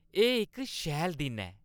एह् इक शैल दिन ऐ।